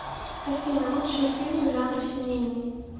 афина лучшие фильмы жанра семейный